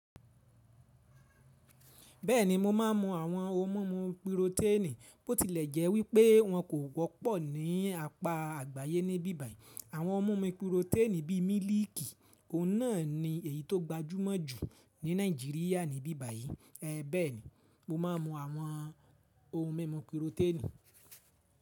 Bẹ́ẹ̀ni mo máa ń mu àwọn ohun mímu píròténì, bótilẹ̀ jẹ́ wí pé wọn kò wọ́pọ̀ ní apà àgbáyé ní bíbàyí. Àwọn ohun mímu píròténì bí mílíìkì, òun náà ni èyí tó gbajúmọ̀ jù ní Nàìjíríà ní bíbàyí. Bẹ́ẹ̀ni, mo máa ń mu àwọn ohun mímu píròténì.